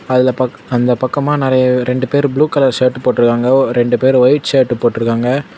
அதுல பக் அந்த பக்கமா நறய ரெண்டு பேரு ப்ளூ கலர் ஷர்ட் போட்ருக்காங்க ரெண்டு பேரு ஒயிட் ஷர்ட் போட்ருக்காங்க.